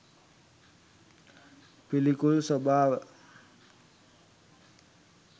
පිළිකුල් ස්වභාව